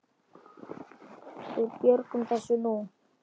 Við björgum þessu nú.